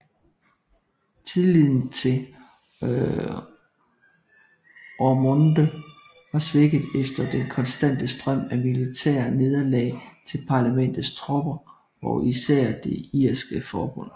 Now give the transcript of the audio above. Tilliden til Ormonde var svækket efter den konstante strøm af militære nederlag til Parlamentets tropper og især det irske forbund